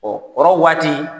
kɔrɔ waati